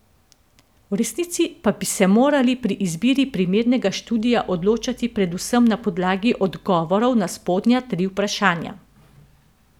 V resnici pa bi se morali pri izbiri primernega študija odločati predvsem na podlagi odgovorov na spodnja tri vprašanja.